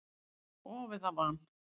Of eða van?